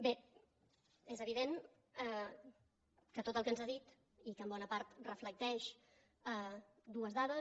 bé és evident que tot el que ens ha dit i que en bona part reflecteix dues dades